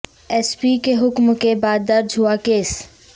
S P کے حکم کے بعد درج ہوا کیس